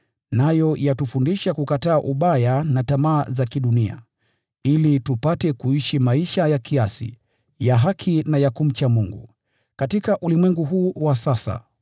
Nayo yatufundisha kukataa ubaya na tamaa za kidunia, ili tupate kuishi maisha ya kiasi, ya haki na ya utaua katika ulimwengu huu wa sasa,